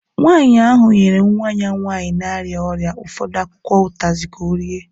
Nwanyị ahụ nyere nwa ya nwanyị na-arịa ọrịa ụfọdụ akwụkwọ utazi ka ọ rie